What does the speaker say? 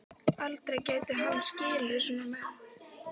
Aldrei gæti hann skilið svona menn.